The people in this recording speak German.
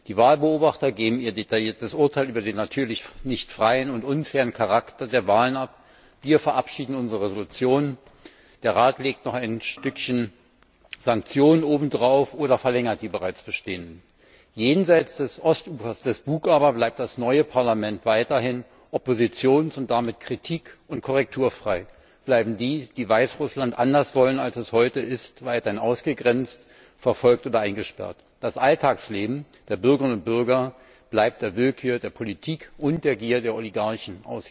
Die Wahlbeobachter geben ihr detailliertes Urteil über den natürlich nicht freien und unfairen Charakter der Wahlen ab, wir verabschieden unsere Entschließung, der Rat legt noch ein Stückchen Sanktionen oben drauf oder verlängert die bereits bestehenden. Jenseits des Bug bleibt das neue Parlament weiterhin oppositions und damit kritik und korrekturfrei, bleiben die, die Weißrussland anders wollen, als es heute ist, weiterhin ausgegrenzt, verfolgt oder eingesperrt. Das Alltagsleben der Bürgerinnen und Bürger bleibt der Willkür der Politik und der Gier der Oligarchen